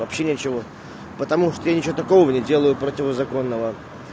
вообще ничего потому что я ничего такого не делаю противозаконного